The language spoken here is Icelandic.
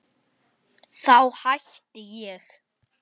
Þá hætti ég.